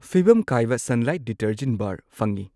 ꯐꯤꯚꯝ ꯀꯥꯏꯕ Sunlight detergent bar ꯐꯪꯢ꯫